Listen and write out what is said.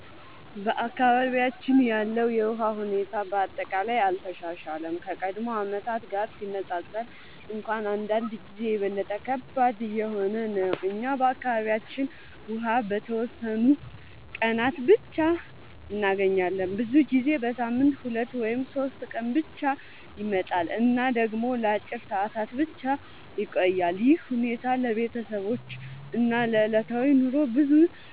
በአካባቢያችን ያለው የውሃ ሁኔታ በአጠቃላይ አልተሻሻለም፤ ከቀድሞ ዓመታት ጋር ሲነፃፀር እንኳን አንዳንድ ጊዜ የበለጠ ከባድ እየሆነ ነው። እኛ በአካባቢያችን ውሃ በተወሰኑ ቀናት ብቻ እንገኛለን፤ ብዙ ጊዜ በሳምንት 2 ወይም 3 ቀን ብቻ ይመጣል እና ደግሞ ለአጭር ሰዓታት ብቻ ይቆያል። ይህ ሁኔታ ለቤተሰቦች እና ለዕለታዊ ኑሮ ብዙ